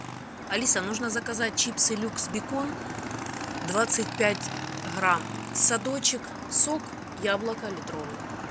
алиса нужно заказать чипсы люкс бекон двадцать пять грамм садочек сок яблоко литровый